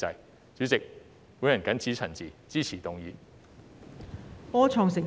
代理主席，我謹此陳辭，支持議案。